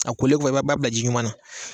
A kolen ko i b'a bila ji ɲuman na